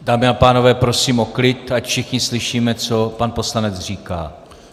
Dámy a pánové, prosím o klid, ať všichni slyšíme, co pan poslanec říká.